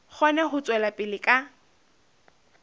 kgone ho tswela pele ka